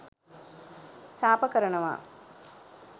සාප කරනවා.